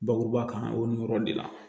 Bakuruba kan o yɔrɔ de la